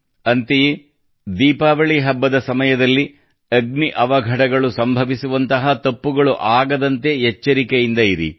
ಅಂತೆಯೇ ದೀಪಾವಳಿ ಹಬ್ಬದ ಸಮಯದಲ್ಲಿ ಅಗ್ನಿ ಅವಘಢಗಳು ಸಂಭವಿಸುವಂತಹ ತಪ್ಪುಗಳು ಆಗದಂತೆ ಎಚ್ಚರಿಕೆಯಿಂದ ಇರಿ